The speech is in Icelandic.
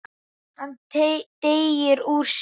Hann teygir úr sér.